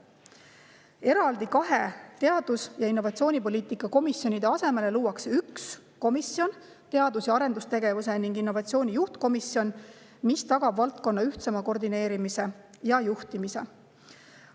Kahe eraldi teadus‑ ja innovatsioonipoliitika komisjoni asemele luuakse üks komisjon, teadus‑ ja arendustegevuse ning innovatsiooni juhtkomisjon, mis tagab valdkonna ühtsema koordineerimise ja juhtimise.